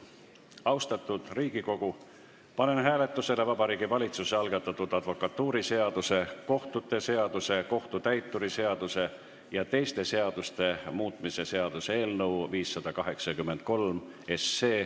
Austatud Riigikogu, panen hääletusele Vabariigi Valitsuse algatatud advokatuuriseaduse, kohtute seaduse, kohtutäituri seaduse ja teiste seaduste muutmise seaduse eelnõu 583.